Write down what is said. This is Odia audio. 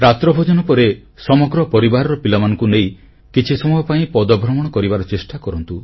ରାତ୍ରଭୋଜନ ପରେ ସମଗ୍ର ପରିବାର ପିଲାମାନଙ୍କୁ ନେଇ କିଛି ସମୟ ପାଇଁ ପଦଭ୍ରମଣ କରିବାର ଚେଷ୍ଟା କରନ୍ତୁ